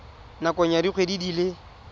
nakong ya dikgwedi di le